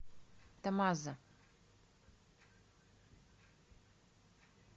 тамаза